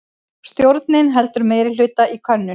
Stjórnin heldur meirihluta í könnun